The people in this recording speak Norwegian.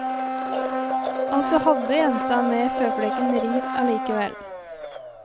Altså hadde jenta med føflekken ringt allikevel.